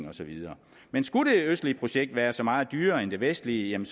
og så videre men skulle det østlige projekt være så meget dyrere end det vestlige